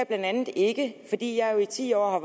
blandt andet ikke fordi jeg i ti år har